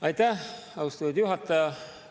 Aitäh, austatud juhataja!